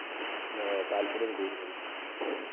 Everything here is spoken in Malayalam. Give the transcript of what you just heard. താല്പര്യ കൂടുതല്.